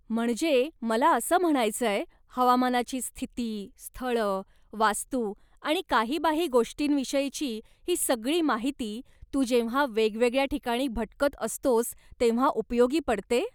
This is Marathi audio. म्हणजे मला असं म्हणायचंय, हवामानाची स्थिती, स्थळं, वास्तू आणि काहीबाही गोष्टींविषयीची ही सगळी माहिती, तू जेव्हा वेगवेगळ्या ठिकाणी भटकत असतोस तेव्हा उपयोगी पडते?